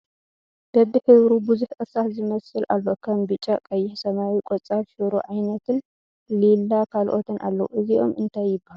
በቢሕብሩ ቡዙሕ እርሳስ ዝመስል ኣሎ ከም ቢጫ፣ ቀይሕ፣ ሰማያዊ፣ ቆፃል፣ ሽሮ ዓይነትን ሊላ ካልኦትን ኣለዉ ። እዚኦም እንታይ ይበሃሉ ?